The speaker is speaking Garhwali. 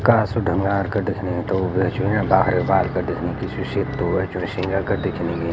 कासु ढुंगार का दिखणी --